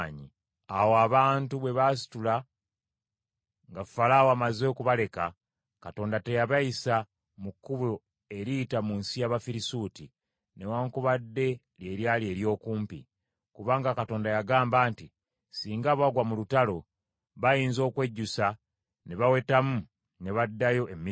Awo abantu, bwe baasitula nga Falaawo amaze okubaleka, Katonda teyabayisa mu kkubo eriyita mu nsi y’Abafirisuuti, newaakubadde lye lyali ery’okumpi. Kubanga Katonda yagamba nti, “Singa bagwa mu lutalo, bayinza okwejjusa ne bawetamu ne baddayo e Misiri.”